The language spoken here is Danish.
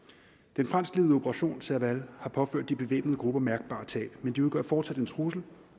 den franskledede operation serval har påført de bevæbnede grupper mærkbare tab men de udgør fortsat en trussel